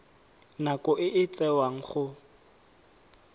nako e e tsewang go